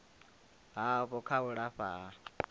havho kha u lafha ha